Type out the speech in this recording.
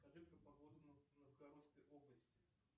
скажи про погоду в новгородской области